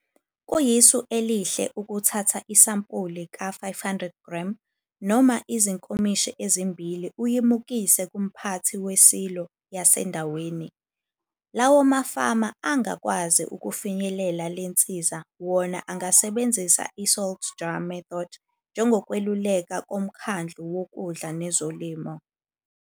Kuyisu elihle ukuthatha isampuli ka-500g noma izinkomishi ezimbili uyimukise kumphathi wesilo yasendaweni. Lawo mafama angakwazi ukufinyelela le nsiza wona angasebenzisa iSalt jar method njengokweluleka koMkhandlu woKudla neZolimo.